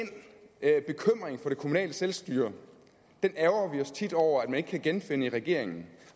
kommunale selvstyre ærgrer vi os tit over at man ikke kan genfinde hos regeringen